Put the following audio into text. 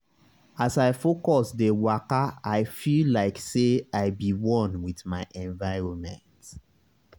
as i focus dey wakai feel like say i be one with my environment.